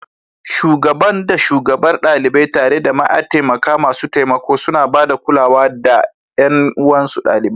Shugaban da Shugabar ɗalibai, tare da mataimaka masu taimako, suna ba da kulawa da ga ƴan uwansu ɗalibai.